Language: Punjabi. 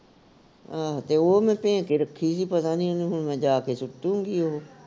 ਆਹ ਤੇ ਉਹ ਮੈਂ ਭੇ ਕੇ ਰੱਖੀ ਹੀ ਪਤਾ ਨੀ ਉਹਨੂੰ ਹੁਣ ਮੈਂ ਜਾ ਕੇ ਸੁੱਟੁਗੀ ਉਹ